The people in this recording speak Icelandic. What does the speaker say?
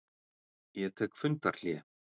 Ég tek fundarhlé.